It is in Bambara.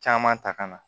Caman ta ka na